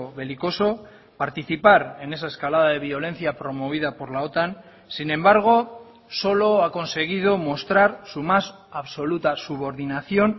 belicoso participar en esa escalada de violencia promovida por la otan sin embargo solo ha conseguido mostrar su más absoluta subordinación